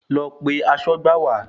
Lọ pe aṣọ́gbà wá.